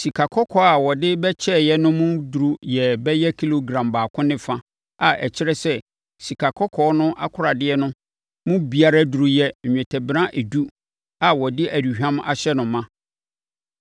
Sikakɔkɔɔ a wɔde bɛkyɛeɛ no mu duru yɛɛ bɛyɛ kilogram baako ne fa a ɛkyerɛ sɛ, sikakɔkɔɔ no akoradeɛ no mu biara duru yɛ nnwetɛbena edu a wɔde aduhwam ahyɛ no ma.